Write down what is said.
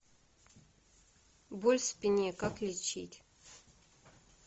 боль в спине как лечить